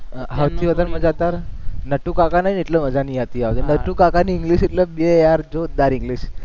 સૌથી વધારે મજા નટુકાકા નઈ ને એટલે મજા નઈ આવતી, નટુકાકાની english એટલે બે યાર જોરદાર english